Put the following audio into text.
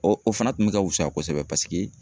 Ɔ o fana kun bɛ ka fusaya kosɛbɛ, paseke